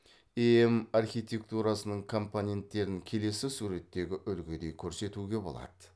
эем архитектурасының компоненттерін келесі суреттегі үлгідей көрсетуге болады